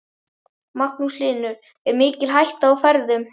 Magnús Hlynur: Er mikil hætta á ferðum?